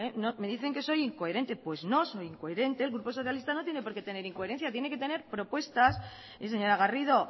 me dicen que soy incoherente pues no soy incoherente el grupo socialista no tiene porqué tener incoherencia tiene que tener propuestas y señora garrido